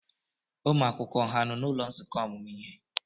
Ụmụ akwụkwọ ha nọ n'ụlọ nzukọ ọmụmụ ihe?